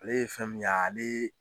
Ale ye fɛn min ye ale